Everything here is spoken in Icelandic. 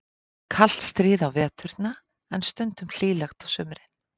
Það var kalt stríð á veturna, en stundum hlýlegt á sumrin.